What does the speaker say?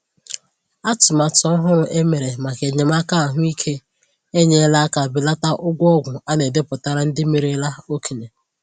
Atụmatụ ọhụrụ e mere maka enyémàkà ahụ́ íké enyela aka belata ụgwọ ọgwụ a na-edepụtara ndị merela okenye